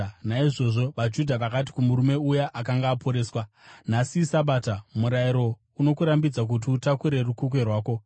Naizvozvo vaJudha vakati kumurume uya akanga aporeswa, “Nhasi iSabata; murayiro unokurambidza kuti utakure rukukwe rwako.”